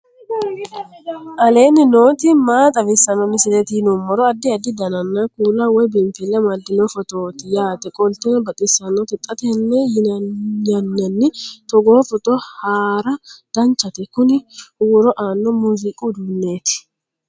aleenni nooti maa xawisanno misileeti yinummoro addi addi dananna kuula woy biinfille amaddino footooti yaate qoltenno baxissannote xa tenne yannanni togoo footo haara danchate kuni huuro aanno muuziiqu uduunneeti